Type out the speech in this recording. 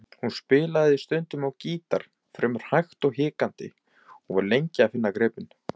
Hún spilaði stundum á gítar fremur hægt og hikandi og var lengi að finna gripin.